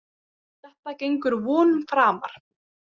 Þetta gengur vonum framar.